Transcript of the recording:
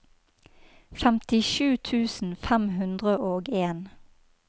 femtisju tusen fem hundre og en